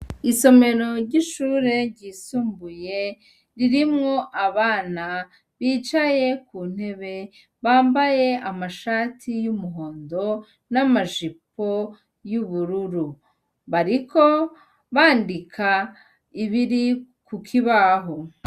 Isomero ry'ishure ryisumbuye ririmwo abana bicaye kuntebe, bambaye amashati y'umuhondo n'amajipo y'ubururu, bariko bandika ibiri kukibaho .